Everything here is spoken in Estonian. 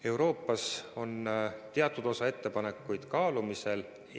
Euroopas on teatud osa ettepanekuid kaalumisel.